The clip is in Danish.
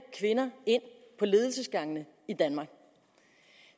kvinder ind på ledelsesgangene i danmark